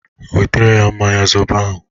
Wetere ya mmanya zobo ahụ!